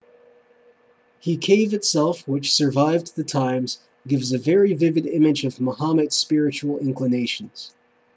he cave itself which survived the times gives a very vivid image of muhammad's spiritual inclinations